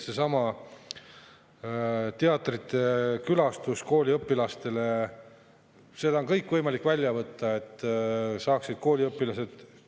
Seesama teatrite külastus kooliõpilastele on võimalik välja võtta, et kooliõpilased saaksid …